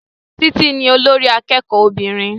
Títí ní olórí akẹ́kọ̀ọ́ obìnrin